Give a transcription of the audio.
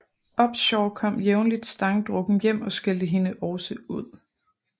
Upshaw kom jævnligt stangdrukken hjem og skældte hende også ud